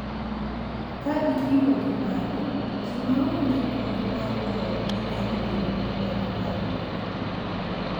Ka ipimo gi mano, ji ma onge kony mar joodgi nyalo bedo gi pek mar yudo .